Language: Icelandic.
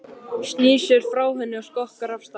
Snýr sér frá henni og skokkar af stað.